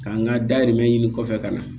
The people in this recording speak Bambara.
K'an ka dayirimɛ ɲini kɔfɛ ka na